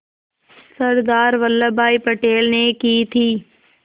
सरदार वल्लभ भाई पटेल ने की थी